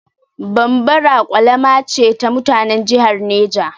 Bambara ƙwalama ce ta mutanan jihar Neja.